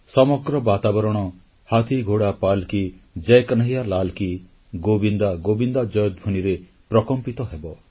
ସମଗ୍ର ବାତାବରଣ ହାଥି ଘୋଡ଼ା ପାଲ୍କି ଜୟ କହ୍ନୈୟା ଲାଲକି ଗୋବିନ୍ଦା ଗୋବିନ୍ଦା ଜୟଧ୍ୱନିରେ ପ୍ରକମ୍ପିତ ହେବ